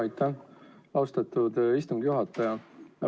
Aitäh, austatud istungi juhataja!